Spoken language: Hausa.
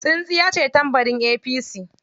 Tsintsiyace tambarin APC.